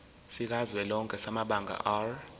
sikazwelonke samabanga r